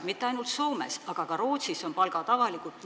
Mitte ainult Soomes, vaid ka Rootsis on palgad avalikud.